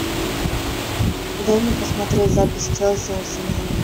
дай мне посмотреть запись челси арсенал